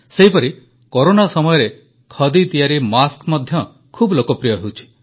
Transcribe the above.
ସେହିପରି କରୋନା ସମୟରେ ଖଦି ତିଆରି ମାସ୍କ ମଧ୍ୟ ଖୁବ ଲୋକପ୍ରିୟ ହେଉଛି